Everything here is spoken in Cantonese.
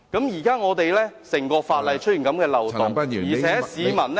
現在整項法例出現這個漏洞，而且市民......